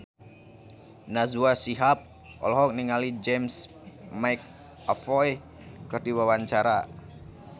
Najwa Shihab olohok ningali James McAvoy keur diwawancara